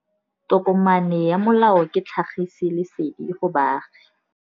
Tokomane ya molao ke tlhagisi lesedi go baagi.